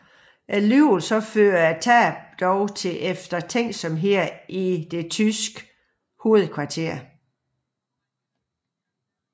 Alligevel fører tabene dog til eftertænksomhed i det tyske hovedkvarter